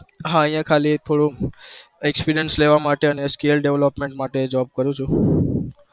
હા અહિયાં ખાલી થોડું experience લેવા માટે અને skill development માટે job કરું છુ